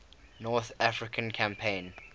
north african campaign